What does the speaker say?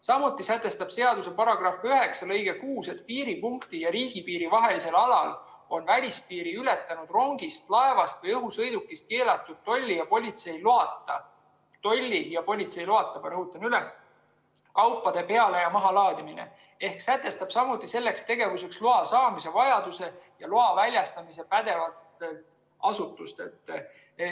Samuti sätestab seaduse § 9 lõige 6, et piiripunkti ja riigipiiri vahelisel alal on välispiiri ületanud rongist, laevast või õhusõidukist keelatud tolli ja politsei loata – tolli ja politsei loata, ma rõhutan üle – kaupade peale- ja mahalaadimine, ehk see sätestab samuti selleks tegevuseks loa saamise ja pädevatelt asutustelt loa väljastamise vajaduse.